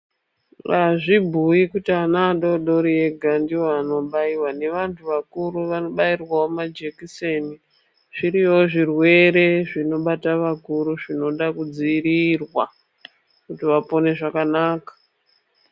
Azvibhuyi kuti ana adodori ega ndiwo anobayiwa nevantu vakuru vanobayiwawo majekiseni zviriyowo zvirwere zvinobata vakuru zvinoda kudziirirwa kuti vapone zvakanaka .